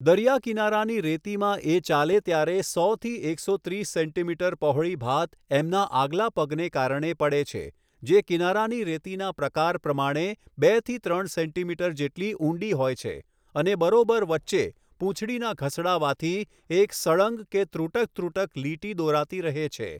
દરીયા કીનારાની રેતીમાં એ ચાલે ત્યારે સોથી એકસો ત્રીસ સેન્ટીમીટર પહોળી ભાત એમના આગલા પગને કારણે પડે છે જે કીનારાની રેતીના પ્રકાર પ્રમાણે બેથી ત્રણ સેન્ટીમીટર જેટલી ઊંડી હોય છે અને બરોબર વચ્ચે પુંછડીના ઘસડાવાથી એક સળંગ કે ત્રુટક ત્રુટક લીટી દોરાતી રહે છે.